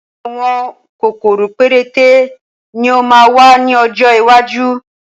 Àwọn kòkòrò péréte ni ó máa wà ní ọjọ́ iwájú